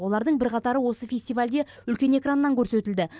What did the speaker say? олардың бірқатары осы фестивальде үлкен экраннан көрсетілді